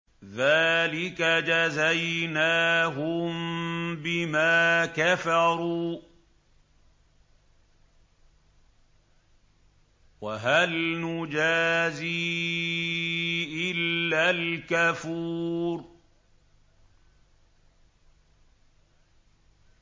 ذَٰلِكَ جَزَيْنَاهُم بِمَا كَفَرُوا ۖ وَهَلْ نُجَازِي إِلَّا الْكَفُورَ